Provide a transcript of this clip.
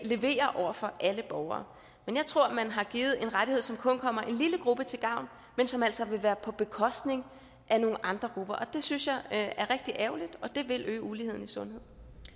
leverer over for alle borgere men jeg tror man har givet en rettighed som kun kommer en lille gruppe til gavn men som altså vil være på bekostning af nogle andre grupper det synes jeg er rigtig ærgerligt og det vil øge uligheden i sundhed